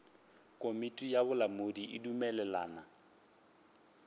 komiti ya bolamodi e dumelelana